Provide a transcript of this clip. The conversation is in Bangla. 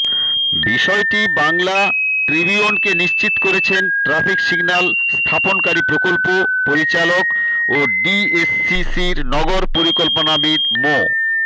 বিষয়টি বাংলা ট্রিবিউনকে নিশ্চিত করেছেন ট্রাফিক সিগন্যাল স্থাপনকারী প্রকল্প পরিচালক ও ডিএসসিসির নগর পরিকল্পনাবিদ মো